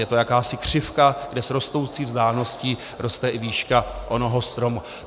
Je to jakási křivka, kde s rostoucí vzdáleností roste i výška onoho stromu.